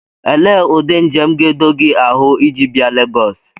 Ele ụdị njem ga-edo gị ahụ iji bịa Legosi?